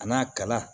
A n'a kala